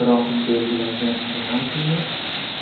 Biroq belgilangan penaltini